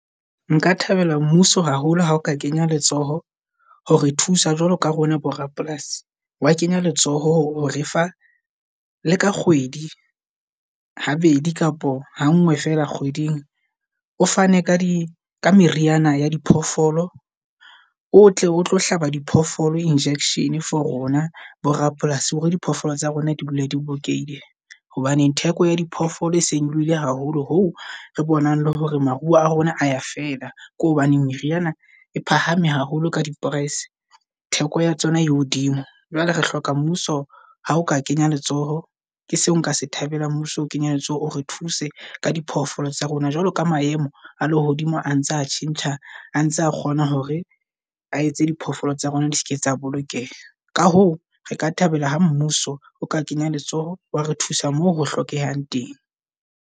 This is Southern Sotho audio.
Nka thabela mmuso haholo ha o ka kenya letsoho hore thusa jwalo ka rona bo rapolasi. Wa kenya letsoho hore re fa le ka kgwedi habedi kapa hangwe fela kgweding, o fane ka di ka meriana ya diphoofolo. O tle o tlo hlaba diphoofolo injection for rona bo rapolasi hore diphoofolo tsa rona di bula di bolokehile. Hobaneng theko ya diphoofolo e se e nyoloohile haholo ho re bonang le hore maruo a rona a ya fela. Ke hobaneng meriana e phahame haholo ka di price. Theko ya tsona e hodimo. Jwale re hloka mmuso, ha o ka kenya letsoho ke seo nka se thabelang. Mmuso o kenyelletse o re thuse ka diphoofolo tsa rona, jwalo ka maemo a lehodimo a ntse a tjhentjha. Antsa kgona hore a etse diphoofolo tsa rona di se ke tsa bolokeha. Ka hoo, re ka thabela ha mmuso o ka kenya letsoho, wa re thusa mo ho hlokehang teng.